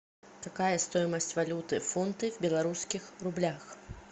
какая стоимость валюты фунты в белорусских рублях